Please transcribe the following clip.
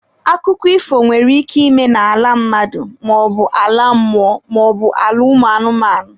Akụkọ ifo nwere ike ịme n'ala mmadụ maọbu ala mmụọ maọbụ ala ụmụ anụmanụ.